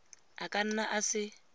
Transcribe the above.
a ka nna a se